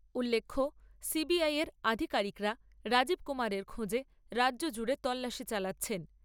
উল্লেখ্য, এর আধিকারিকরা রাজীব কুমারের খোঁজে রাজ্য জুড়ে তল্লাশি চালাচ্ছেন।